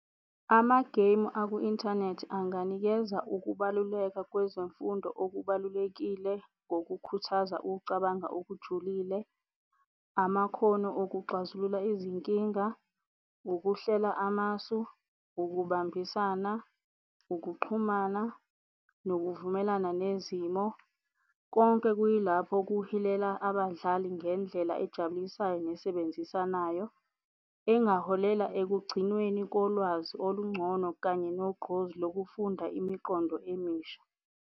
Ama-game aku-inthanethi anganikeza ukubaluleka kwezemfundo okubalulekile ngokukhuthaza ukucabanga okujulile, amakhono okuxazulula izinkinga, ukuhlela amasu, ukubambisana, ukuxhumana nokuvumelana nezimo. Konke, kuyilapho kuhilela abadlali ngendlela ejabulisayo ne ebenzisanayo engaholela ekugcinweni kolwazi olungcono, kanye nogqozi lokufunda imiqondo emisha.